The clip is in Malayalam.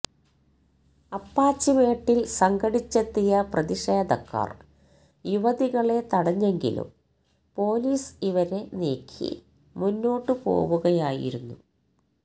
അപ്പാച്ചിമേട്ടില് സംഘടിച്ചെത്തിയ പ്രതിഷേധക്കാര് യുവതികളെ തടഞ്ഞെങ്കിലും പൊലീസ് ഇവരെ നീക്കി മുന്നോട്ടുപോകുകയായിരുന്നു